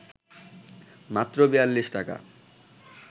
মাত্র ৪২ টাকা